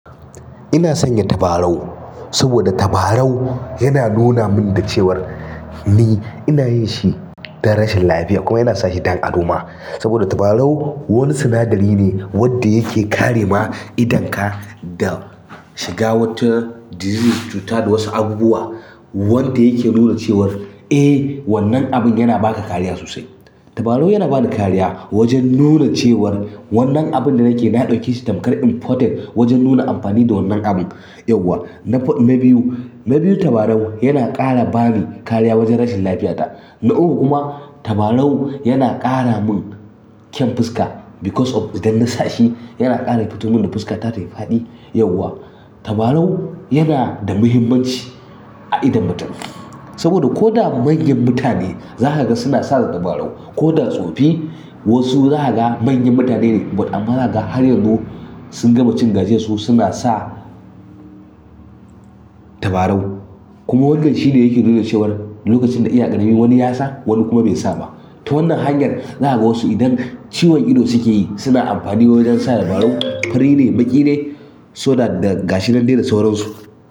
Ina sanya tabarau saboda tabarau yana nuna min da cewar. Ni ina yin shi don rashin lafiya kuma ina sa shi don ado ma, saboda tabarau wani sinadari ne wanda yake kare ma idonka da shiga wata disease cuta da wasu abubuwa wanda yake nuna cewar "Eh wannan abin yana ba ka kariya sosai." Tabarau yana ba da kariya wajen nuna cewar wannan abin da nake na ɗauke shi tamkar important wajen nuna amfani da wannan abun yauwa. Na fa. Na biyu, na biyu tabarau yana ƙara bani kariya wajen rashin lafiyata. Na uku kuma tabarau yana ƙara mun ƙyan fuska because of idan na sa shi yana ƙara fiton mun da fuska ta tayi faɗi yauwa. Tabarau yana da muhimmanci a idon mutum saboda ko da manyan mutane za kaga suna sa tabarau. Ko da tsofi wasu zakaga manyan mutane ne but amma zakaga har yanzu sun gama cin gajiyarsu wasu suna sa tabarau. Kuma wannan shi ne yake nuna cewar lokacin da iya ƙaramin wani yasa wani kuma bai sa ba. To wannan hanyar zakaga wasu idan ciwon ido suke yi suna amfani wajen sa tabarau. Tabarau yana da muhimmanci a idon mutum saboda ko da manyan mutane za kaga suna sa tabarau.